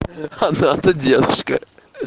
она то девушка